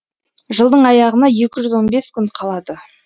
жылдың аяғына екі жүз он бес күн қалады